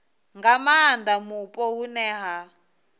nga maanda mupo hune ha